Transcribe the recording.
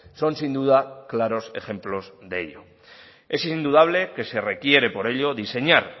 son sin duda claros ejemplos de ello es indudable que se requiere por ello diseñar